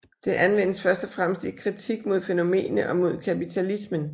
Det anvendes først og fremmest i kritik mod fænomenet og mod kapitalismen